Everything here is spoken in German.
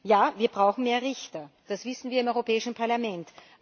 Ja, wir brauchen mehr Richter, das wissen wir im Europäischen Parlament.